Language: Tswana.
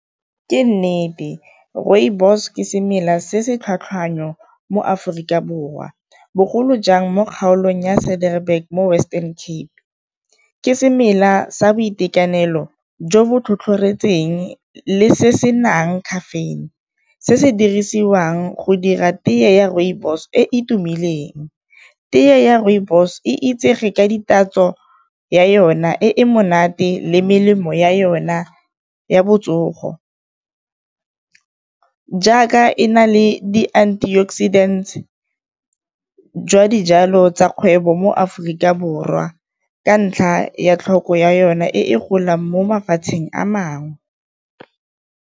Ke nnete rooibos ke semela se se tlhwatlhwanyo mo Aforika Borwa, bogolo jang mo kgaolong ya mo Western Cape. Ke semela sa boitekanelo jo bo tlhotlhoretseng le se se nang caffeine, se se dirisiwang go dira tee ya rooibos e e tumileng. Tee ya rooibos e itsege ka ditatso ya yona e e monate le melemo ya yona ya botsogo, jaaka e na le di antioxidant jwa dijalo tsa kgwebo mo Aforika Borwa, ka ntlha ya tlhoko ya yona e golang mo mafatsheng a mangwe.